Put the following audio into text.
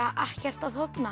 ekkert að þorna